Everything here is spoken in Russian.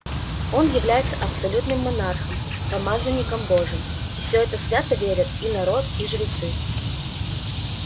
он является абсолютным монархом помазанником божьим и в это свято верят и народ и жрецы